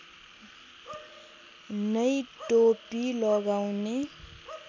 नै टोपी लगाउने